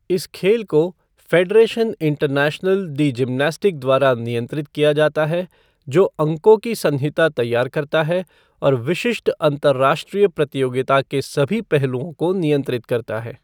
इन खेल को Federation Internationale de Gymnastique द्वारा नियंत्रित किया जाता है, जो अंकों की संहिता तैयार करता है और विशिष्ट अंतरराष्ट्रीय प्रतियोगिता के सभी पहलुओं को नियंत्रित करता है।